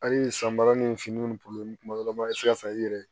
Hali sanbara ni finiw ni kuma dɔ la i bɛ se ka sa i yɛrɛ ye